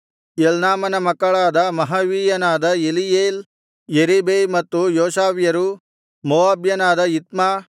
ಎಲ್ನಾಮನ ಮಕ್ಕಳಾದ ಮಹವೀಯನಾದ ಎಲೀಯೇಲ್ ಯೆರೀಬೈ ಮತ್ತು ಯೋಷವ್ಯರು ಮೋವಾಬ್ಯನಾದ ಇತ್ಮ